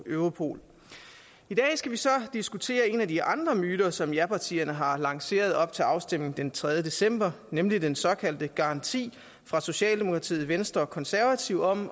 europol i dag skal vi så diskutere en af de andre myter som japartierne har lanceret op til afstemningen den tredje december nemlig den såkaldte garanti fra socialdemokratiet venstre og konservative om